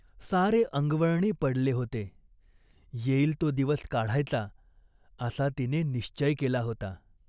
सारे अंगवळणी पडले होते. येईल तो दिवस काढायचा असा तिने निश्चय केला होता.